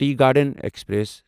tea garden express